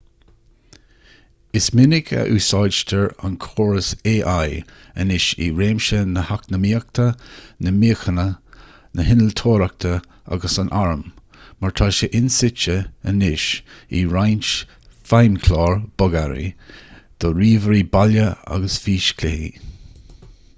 is minic a úsáidtear an córas ai anois i réimsí na heacnamaíochta na míochaine na hinnealtóireachta agus an airm mar tá sé ionsuite anois i roinnt feidhmchlár bogearraí do ríomhairí baile agus físchluichí